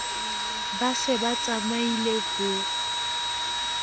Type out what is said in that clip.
ba se ba tsamaile ho